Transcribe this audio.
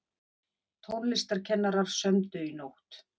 Tónlistarkennarar sömdu í nótt